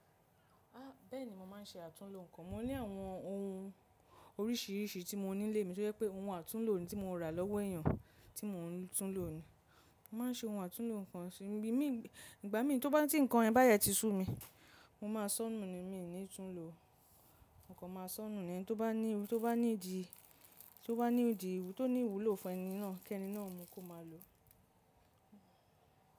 Ah, bẹ́ẹ̀ni, mo má n ṣe àtúnlo nǹkan. Mo ní àwọn ohun oríṣiríṣi tí mo ní lé mi tó jẹ́ pé ohun àtúnlo ni tí mo rà lọ́wọ́ èèyàn tí mo n túnlo ni. Mo ma n ṣe ohun àtúnlo nǹkan sí ibi mi, ìgbà mí tí nǹkan yen báde ti sún mi, mo ma sọ́nù ni mí ní túnlo, mo kan ma sọ́nù ni. Ẹni tí ó bá ní, tí ó bá ní di, tí ó bá ní di ìwú, tó ní ìwúlò fún ẹni náà kí ẹni náà mọ kó má lo.